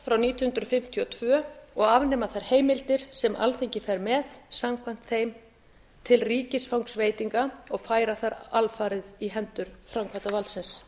hundrað nítján hundruð fimmtíu og tvö og afnema þær heimildir sem alþingi fer með samkvæmt þeim til ríkisfangsveitinga og færa þær alfarið í hendur framkvæmdarvaldsins